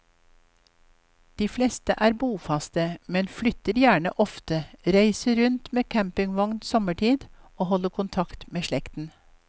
De fleste er bofaste, men flytter gjerne ofte, reiser rundt med campingvogn sommerstid og holder kontakt med slekten.